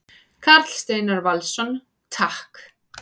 Karl Steinar Valsson: Takk.